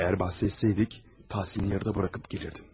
Əgər bəhs etsəydik, təhsilini yarıda buraxıb gələrdin.